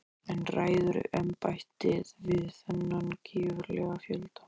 En ræður embættið við þennan gífurlega fjölda?